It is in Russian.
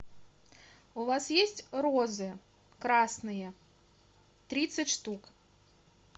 у вас есть розы красные тридцать штук